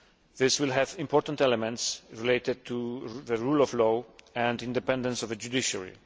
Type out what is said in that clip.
This will have important elements related to the rule of law and independence of the judiciary.